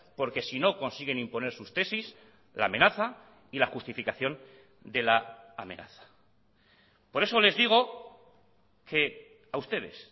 porque si no consiguen imponer sus tesis la amenaza y la justificación de la amenaza por eso les digo que a ustedes